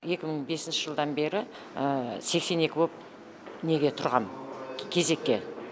екі мың бесінші жылдан бері сексен екі болып неге тұрғанмын кезекке